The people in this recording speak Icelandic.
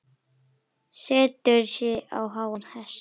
Setur sig á háan hest.